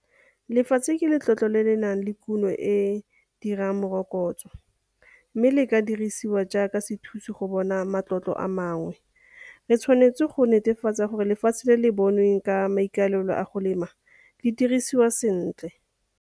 Lefatshe ke letlotlo le le nang le kuno eo e dirang morokotso mme le ka dirisiwa jaaka sethusi go bona matlotlo a mangwe. Re tshwanetse go netefatsa gore lefatshe le le bonweng ka maikalelo a go lema le dirisiwa sentle.